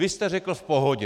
Vy jste řekl: V pohodě.